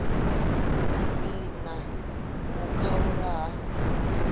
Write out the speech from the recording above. vhi na u khaulwa ha